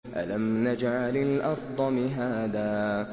أَلَمْ نَجْعَلِ الْأَرْضَ مِهَادًا